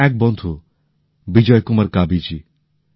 যেমন এক বন্ধু বিজয় কুমার কাবী জী